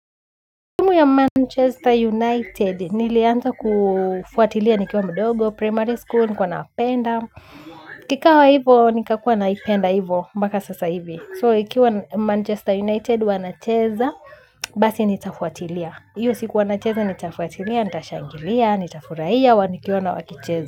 Timu ya Manchester United niliaanza kufuatilia nikiwa mdogo, primary school, nilikuwa napenda, ikawa hivo nikakuwa naipenda hivo mpaka sasa hivi. So, ikiwa Manchester United wanacheza, basi nitafuatilia. Hiyo siku wanacheza, nitafuatilia, nita shangilia, nitafurahia, nikiona wakicheza.